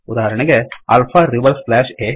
ಉದಾಹರಣೆಗೆ alpha reverse slash ಆ